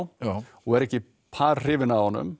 og er ekki par hrifin af honum